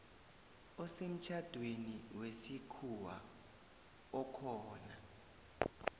osemtjhadweni wesikhuwa okhona